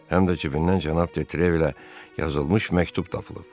Həm də cibindən cənab De Trev ilə yazılmış məktub tapılıb.